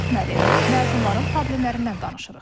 Məzunların problemlərindən danışırıq.